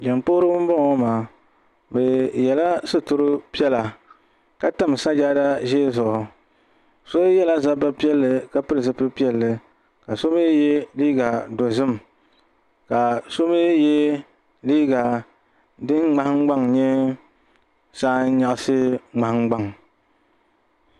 Jiŋli puhiri ba n bɔŋɔ ŋɔ maa ni yiɛla sitira piɛlla ka tami sajada zɛɛ zuɣu so yiɛla zabba piɛlli ka pili zupiligu piɛlli ka so mi yiɛ liiga dozim ka so yiɛ liiga dini mŋahin gbaŋ nyɛ saa n yɛaɣisi mŋahin gbaŋ.